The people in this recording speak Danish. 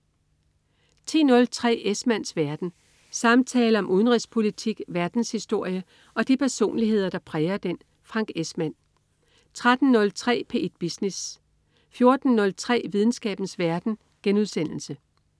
10.03 Esmanns verden. Samtaler om udenrigspolitik, verdenshistorie og de personligheder, der præger den. Frank Esmann 13.03 P1 Business 14.03 Videnskabens verden*